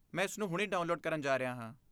ਮੈਂ ਇਸਨੂੰ ਹੁਣੇ ਡਾਊਨਲੋਡ ਕਰਨ ਜਾ ਰਿਹਾ ਹਾਂ।